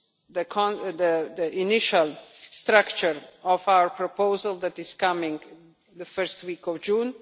the initial structure of our proposal that is coming in the first week of June.